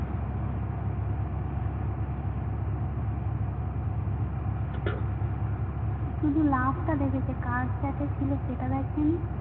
শুধু love টা দেখেছে কার chat এ ছিল সেটা দেখেনি